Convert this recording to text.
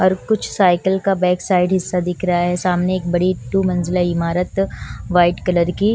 और कुछ साइकिल का बैक साइड हिस्सा दिख रहा है सामने एक बड़ी टू मंजिला इमारत व्हाइट कलर की--